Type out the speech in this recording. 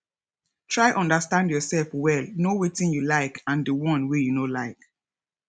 try understand your self well know wetin you like and di one wey you no like